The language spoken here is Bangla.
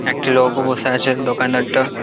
একটা লোকও বসে আছে দোকানদার টা--